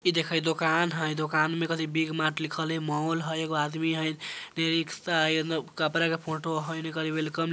इ देख इ दुकान हई दुकान में देखो बिग मार्ट लिखल हई मॉल हई एगो आदमी हई इ रिक्शा हई कपड़ा का फोटो हई एने वेलकम --